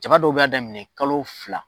Jaba dɔw b'a daminɛ kalo fila